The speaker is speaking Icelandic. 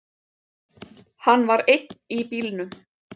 Hann var einn í bílnum